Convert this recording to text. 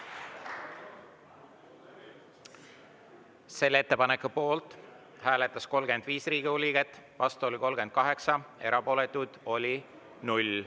Selle ettepaneku poolt hääletas 35 Riigikogu liiget, vastu oli 38, erapooletuid oli 0.